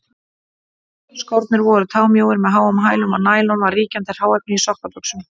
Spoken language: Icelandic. Skórnir voru támjóir með háum hælum, og nælon var ríkjandi hráefni í sokkabuxum.